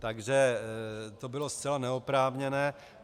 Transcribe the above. Takže to bylo zcela neoprávněné.